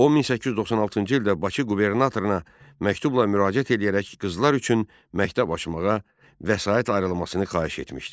O 1896-cı ildə Bakı qubernatoruna məktubla müraciət edərək qızlar üçün məktəb açmağa vəsait ayrılmasını xahiş etmişdi.